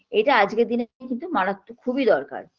এটা আজগের দিনে কিন্তু মারাত্মক খুবই দরকার